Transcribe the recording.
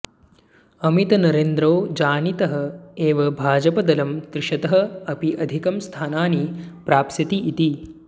अमितनरेन्द्रौ जानीतः एव भाजपदलं त्रिशतः अपि अधिकम् स्थानानि प्राप्स्यति इति